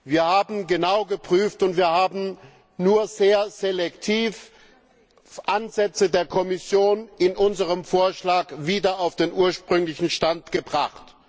Wir haben genau geprüft, und wir haben nur sehr selektiv Ansätze der Kommission in unserem Vorschlag wieder auf den ursprünglichen Stand gebracht.